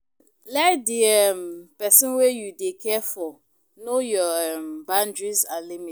let di um person wey you dey care for know your um boundries and limit